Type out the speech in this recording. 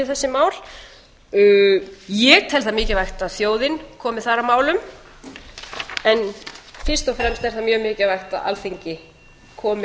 vinnu við þessi mál ég tel það mikilvægt að þjóðin komi þar að málum en fyrst og fremst er það mjög mikilvægt að alþingi komi